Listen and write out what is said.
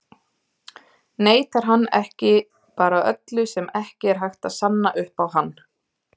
Neitar hann ekki bara öllu sem ekki er hægt að sanna upp á hann?